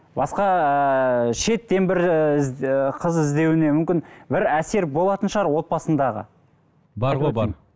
басқа ыыы шеттен бір ііі і қыз іздеуіне мүмкін бір әсер болатын шығар отбасындағы бар ғой бар